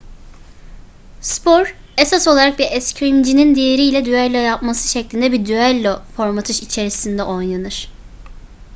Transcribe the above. spor esas olarak bir eskrimcinin diğeriyle düello yapması şeklinde bir düello formatı içerisinde oynanır